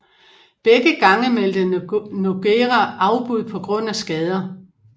Begge gange meldte Nogueira afbud på grund af skader